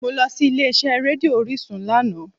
Mo lọ sí ilé iṣẹ́ rédíò orísun lánàá